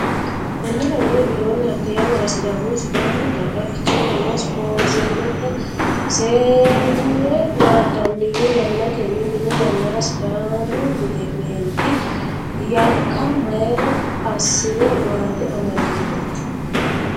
Konnira Wole widoonni hatte yannara Sidaamu Sidaamu daga Ficheetenna simpoozemete seenne naandannihu yannatenni mine yannara Sidaamu meenti yakka mayra assi re maate amadirooti.